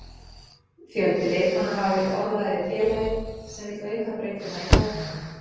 Fjöldi leikmanna hafa verið orðaðir við félagið sem vill auka breiddina í hópnum.